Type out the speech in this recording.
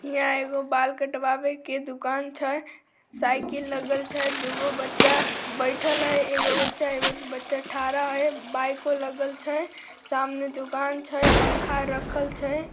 यह एगो बाल कटवावे के दुकान छै साइकिल लगल छै दू गो बच्चा बैठल हई एगो बच्चा एगो बच्चा ठाड़ा हई बाइको लगल छै सामने दुकान छै पंखा रखल छै।